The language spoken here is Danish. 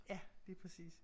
Ja lige præcis